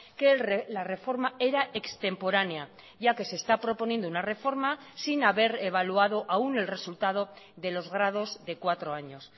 que la reforma era extemporánea ya que se está proponiendo una reforma sin haber evaluado aún el resultado de los grados de cuatro años